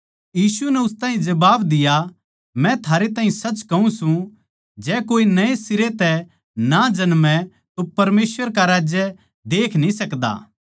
यीशु नै उस ताहीं जबाब दिया मै थारै ताहीं सच कहूँ सूं जै कोए नए सिरे तै ना जन्मै तो परमेसवर का राज्य देख न्ही सकदा